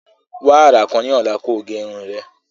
Wa ara kan ni ọla ki o ge irun rẹ.